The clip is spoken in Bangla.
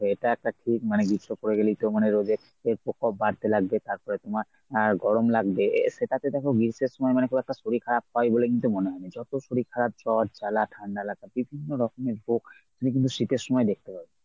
দেখ এটা একটা ঠিক মানে গ্রীষ্ম পরে গেলেই তো মানে রোদের এর প্রকোপ বাড়তে লাগবে তারপরে তোমার এর গরম লাগবে সেটাতে দেখ গ্রীষ্মের সময় মানে খুব একটা শরীর খারাপ হয় বলে কিন্তু মনে হয় না। যত শরীর খারাপ জ্বর জ্বালা ঠান্ডা লাগা বিভিন্ন রকমের রোগ তুমি কিন্তু শীতের সময় দেখতে পাবে